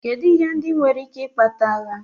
Kedụ ihe ndị nwere ike ikpata agha.